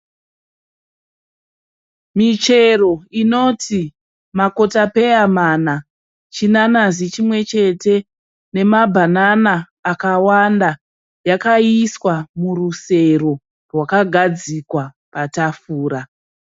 Michero inoti makotapeya mana, chinanazi chimwe chete nemabhanana akawanda yakaiswa murusero rwakagadzikawa tafura.